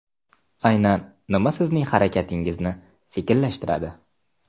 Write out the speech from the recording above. Aynan nima sizning harakatingizni sekinlashtiradi?